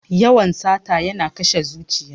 Yawan sata yana kashe zuciya.